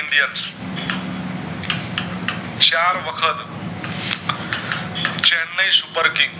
ચાર વખત Chennai supper king